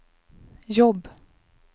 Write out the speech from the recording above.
jobb